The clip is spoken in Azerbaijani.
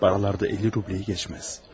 Paralarda 50 rubleyi keçməz.